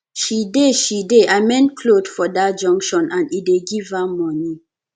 she dey she dey amend clothe for dat junction and e dey give her moni